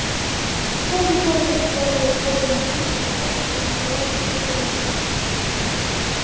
какая-то тяжесть ударила гарри в макушку да так что из глаз посыпались искры